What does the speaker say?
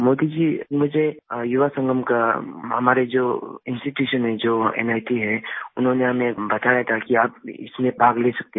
मोदी जी मुझे युवा संगम का हमारे जो इंस्टीट्यूशन हैं जो नित हैं उन्होंने हमें बताया था कि आप इसमें भाग ले सकते हैं